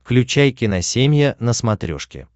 включай киносемья на смотрешке